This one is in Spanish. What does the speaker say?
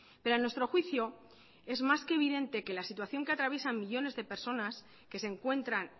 pero a nuestro juicio es más que evidente que la situación que atraviesan millónes de personas que se encuentran